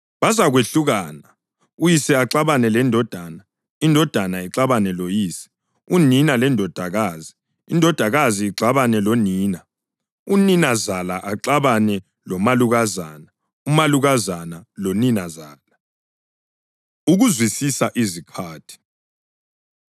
Bazakwehlukana, uyise axabane lendodana, indodana ixabane loyise, unina lendodakazi, indodakazi ixabane lonina, uninazala axabane lomalukazana, umalukazana loninazala.” Ukuzwisisa Izikhathi